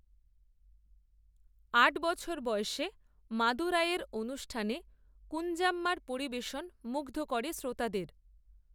আট বছর বয়সে মাদুরাইয়ের অনুষ্ঠানে কূঞ্জাম্মার পরিবেশন মুগ্ধ করে শ্রোতাদের